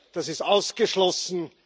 Das ist ausgeschlossen!